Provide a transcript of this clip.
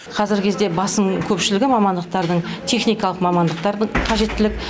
қазіргі кезде басым көпшілігі мамандықтардың техникалық мамандықтардың қажеттілік